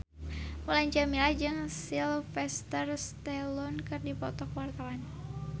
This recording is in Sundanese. Mulan Jameela jeung Sylvester Stallone keur dipoto ku wartawan